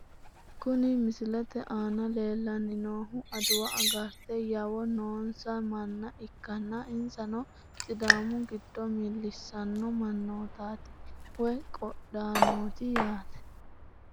Kuni misilete aana lellanni noohu adawa agarate yawo noonsa manna ikkanna, insano sidaamu giddo millissanno mannootaati woy qodhaanooti yaate .